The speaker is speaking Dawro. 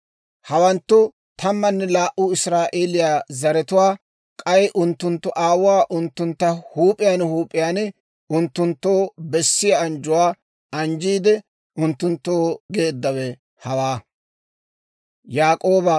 Hawanttu tammanne laa"u israa'eeliyaa zaratuwaa; k'ay unttunttu aawuu unttuntta huup'iyaan huup'iyaan unttunttoo bessiyaa anjjuwaa anjjiidde unttunttoo geeddawe hawaa.